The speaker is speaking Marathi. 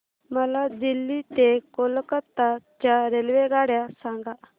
मला दिल्ली ते कोलकता च्या रेल्वेगाड्या सांगा